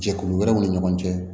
Jɛkulu wɛrɛw ni ɲɔgɔn cɛ